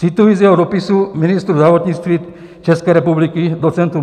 Cituji z jeho dopisu ministru zdravotnictví České republiky doc.